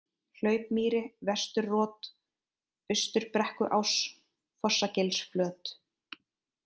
Hlaupmýri, Vesturrot, Austurbrekkuás, Fossagilsflöt